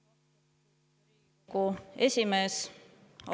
Lugupeetud Riigikogu esimees!